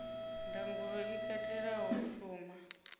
ndangulo i katelaho u shuma